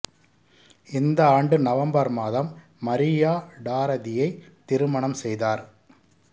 இந்த ஆண்டு நவம்பர் மாதம் மரியா டாரதியை திருமணம் செய்தார்